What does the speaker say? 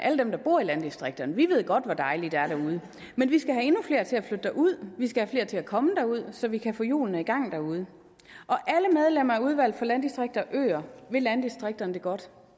alle dem der bor i landdistrikterne ved godt hvor dejligt der er derude men vi skal have endnu flere til at flytte derud vi skal have flere til at komme derud så vi kan få hjulene i gang derude og landdistrikter og øer vil landdistrikterne det godt